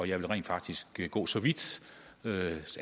jeg vil rent faktisk gå så vidt